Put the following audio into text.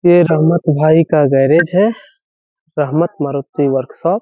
ये रहमत भाई का गैरेज है रहमत मारुति वर्कशॉप ।